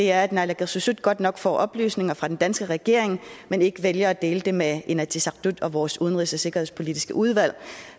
er at naalakkersuisut godt nok får oplysninger fra den danske regering men ikke vælger at dele dem med inatsisartut og vores udenrigs og sikkerhedspolitiske udvalg